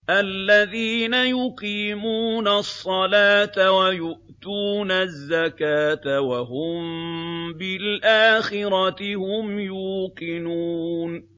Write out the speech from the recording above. الَّذِينَ يُقِيمُونَ الصَّلَاةَ وَيُؤْتُونَ الزَّكَاةَ وَهُم بِالْآخِرَةِ هُمْ يُوقِنُونَ